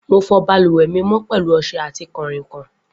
Mo fọ balùwẹ mi mọ pẹlu ọṣẹ ati kanrinkan.